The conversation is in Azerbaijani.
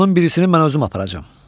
Qoşunun birisini mən özüm aparacam.